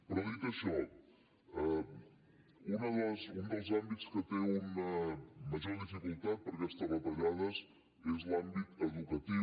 però dit això un dels àmbits que té una major dificultat per aquestes retallades és l’àmbit educatiu